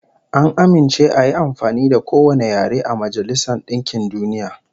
An amince ayi amfani da kowane yare a Majailsar DInkin DUniya